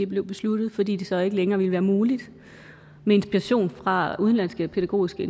blev besluttet fordi det så ikke længere ville være muligt med inspiration fra udenlandske pædagogiske